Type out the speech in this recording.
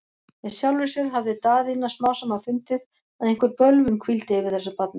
Með sjálfri sér hafði Daðína smám saman fundið, að einhver bölvun hvíldi yfir þessu barni.